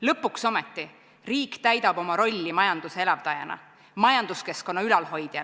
Lõpuks ometi riik täidab oma rolli majanduse elavdajana, majanduskeskkonna ülalhoidjana.